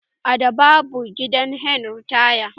A da babu gidahen ritaya